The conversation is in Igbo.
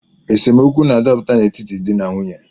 Esemeokwu na-adapụta n’etiti di na nwunye